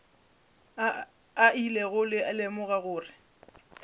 a ilego a lemoga gore